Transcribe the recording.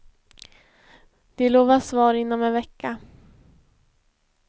De lovar svar inom en vecka.